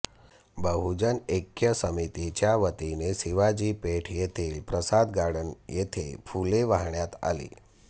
बहुजन ऐक्य समितीच्यावतीने शिवाजी पेठ येथील प्रसाद गार्डन येथे फुले वाहण्यात आली